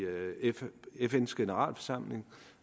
fns generalforsamling